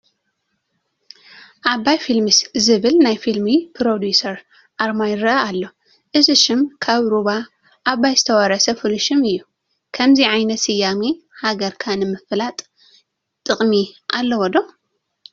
ኣባይ ፊልምስ ዝብል ናይ ፊልም ፕሮዲዩሰር ኣርማ ይርአ ኣሎ፡፡ እዚ ሽም ካብ ሩባ ኣባይ ዝተወረሰ ፍሉይ ሽም እዩ፡፡ ከምዚ ዓይነት ስያመ ሃገርካ ንምፍላጥ ጥቕሚ ኣለዎ ዶ?